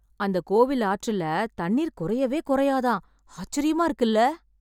அந்த கோவில் ஆற்றில தண்ணிர் குறையவே குறையாத ஆச்சரியமா இருக்குல!